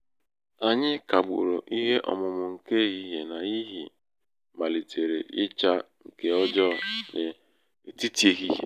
anyị kagburu ihe ọmụmụ nke ehihie n'ihi malitere icha nke ọjọọ n'etiti ehihie.